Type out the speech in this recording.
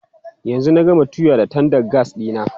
Yanzu na gama tuya da tandan gas ɗina.